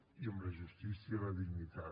i amb la justícia la dignitat